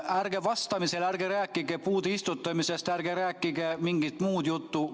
Ärge vastates rääkige puude istutamisest, ärge rääkige mingit muud juttu!